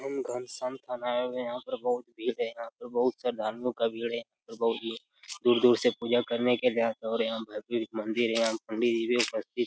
हम घनश्याम थान आये हुए हैं यहाँ पर बहोत भीड़ है यहाँ पर बहोत श्रद्धालुओं का भीड़ हैं दूर-दूर से पूजा करने के लिए आते हैं और यहाँ भव्य एक मंदिर है यहाँ पंडित जी भी उपस्थित --